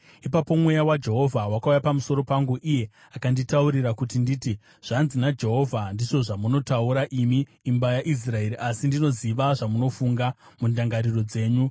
Ipapo Mweya waJehovha wakauya pamusoro pangu, iye akanditaurira kuti nditi: “Zvanzi naJehovha: Ndizvo zvamunotaura, imi imba yaIsraeri, asi ndinoziva zvamunofunga mundangariro dzenyu.